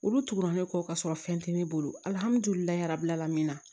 Olu tugura ne kɔ ka sɔrɔ fɛn tɛ ne bolo alihamudulilayi rabila min na